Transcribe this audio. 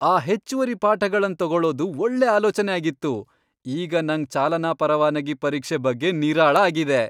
ಆ ಹೆಚ್ಚುವರಿ ಪಾಠಗಳನ್ ತಗೊಳುದು ಒಳ್ಳೆ ಆಲೋಚನೆ ಆಗಿತ್ತು.!ಈಗ ನಂಗ್ ಚಾಲನಾ ಪರವಾನಗಿ ಪರೀಕ್ಷೆ ಬಗ್ಗೆ ನಿರಾಳ ಆಗಿದೆ.